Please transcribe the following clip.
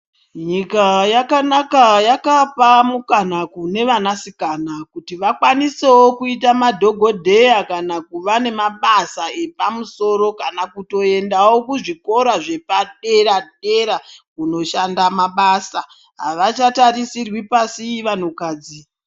Nyika yakanaka yakapa mukana kune vana sikana kuti vakwanisewo kuita madhokodheya kana kuva nemabasa epamusoro kana kutoendawo kuzvikora zvepadera dera kunoshanda mabasa avachatarisirwi pasi vanhu kadzi.